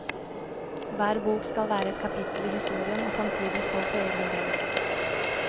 Hver bok skal være et kapittel i historien og samtidig stå på egne ben.